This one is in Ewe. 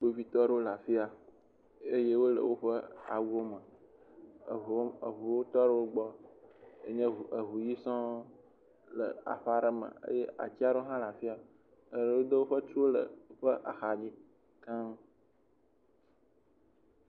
Kpovitɔ wole efiya eye wole woƒe awuwo me. Eŋuwo tɔ ɖewo gbɔ, yi nye eŋu ʋi sɔ le aƒe aɖe me eye ati aɖe hã le afiya eye wodo woƒe tuo ɖe woƒe axa dzi keŋ.